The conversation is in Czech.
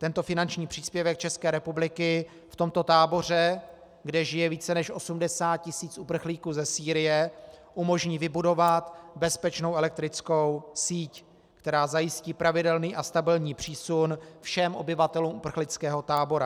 Tento finanční příspěvek České republiky v tomto táboře, kde žije více než 80 tisíc uprchlíků ze Sýrie, umožní vybudovat bezpečnou elektrickou síť, která zajistí pravidelný a stabilní přísun všem obyvatelům uprchlického tábora.